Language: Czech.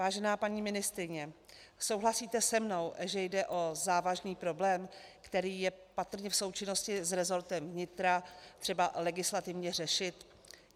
Vážená paní ministryně, souhlasíte se mnou, že jde o závažný problém, který je patrně v součinnosti s resortem vnitra třeba legislativně řešit?